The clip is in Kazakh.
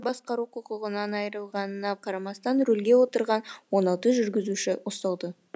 басқару құқығынан айырылғанына қарамастан рөлге отырған он алты жүргізуші ұсталды